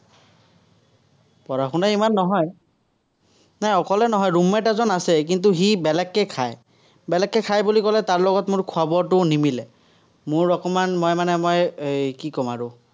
পঢ়া-শুনা ইমান নহয়। নাই অকলে নহয়, room-mate এজন আছে, কিন্তু সি বেলেগকে খায়। বেলেগকে খায় বুলি কলে, তাৰ লগত মোৰ খোৱা-বোৱাটোও নিমিলে। মোৰ অকণমান, মই মানে মই এৰ কি ক'ম আৰু।